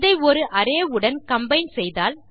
இதை ஒரு அரே உடன் கம்பைன் செய்தால்